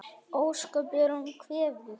Ósköp er hún kvefuð.